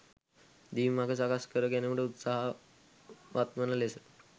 දිවි මග සකස් කර ගැනුමට උත්සාහ වත්වන ලෙස